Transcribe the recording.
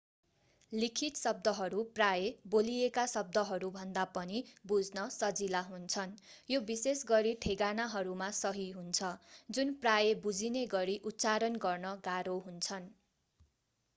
लिखित शब्दहरू प्रायः बोलिएका शब्दहरूभन्दा पनि बुझ्न सजिला हुन्छन् यो विशेषगरी ठेगानाहरूमा सही हुन्छ जुन प्रायः बुझिने गरी उच्चारण गर्न गाह्रो हुन्छन्